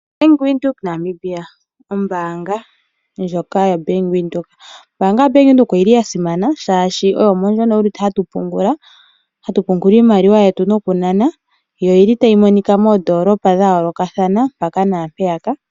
Bank Windhoek Namibia ombaanga ndyoka yaBank Windhoek. Ombaanga ya Bank Windhoek oyili yasimana shaashi oyo yimwe moka hatu pungula, hatu pungula iimaliwa yetu nokunana yo oyili tayi monika moondoolopa dhayoolokathana mpaka nampeyaka.